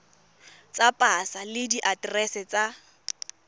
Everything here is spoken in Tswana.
tsa pasa le diaterese tsa